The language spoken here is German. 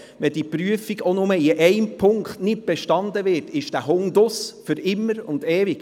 Besteht ein Hund diese Prüfung auch nur in einem Punkt nicht, gehört er nicht mehr dazu und zwar für immer und ewig.